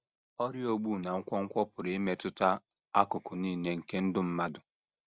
Ọrịa ogbu na nkwonkwo pụrụ imetụta akụkụ nile nke ndụ mmadụ.